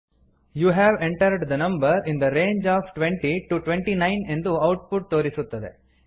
you have entered the number in the range of twenty to twenty nine ಎಂದು output ತೋರಿಸುತ್ತದೆ